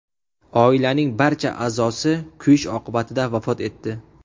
Oilaning barcha a’zosi kuyish oqibatida vafot etdi.